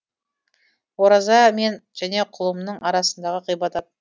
ораза мен және құлымның арасындағы ғибадат